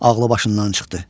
Ağlı başından çıxdı.